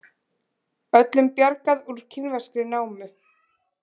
Öllum bjargað úr kínverskri námu